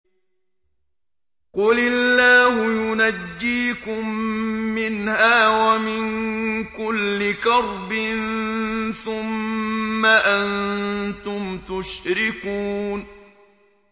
قُلِ اللَّهُ يُنَجِّيكُم مِّنْهَا وَمِن كُلِّ كَرْبٍ ثُمَّ أَنتُمْ تُشْرِكُونَ